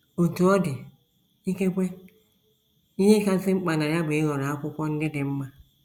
Otú ọ dị, ikekwe ihe kasị mkpa na ya bụ ịhọrọ akwụkwọ ndị dị mma.